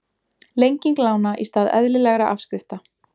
Lenging lána í stað eðlilegra afskrifta